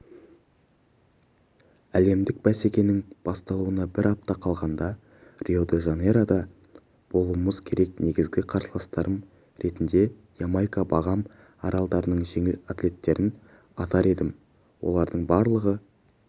әлемдік бәсекенің басталуына бір апта қалғанда рио-де-жанейрода болуымыз керек негізгі қарсыласатарым ретінде ямайка багам аралдарының жеңіл атлаттерін атар едім олардың барлығы